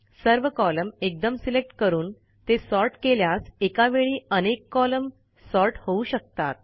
सर्व कॉलम एकदम सिलेक्ट करून ते सॉर्ट केल्यास एकावेळी अनेक कॉलम सॉर्ट होऊ शकतात